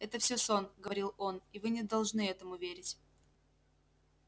это всё сон говорил он и вы не должны этому верить